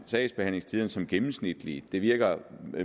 sagsbehandlingstiderne som gennemsnitlige det virker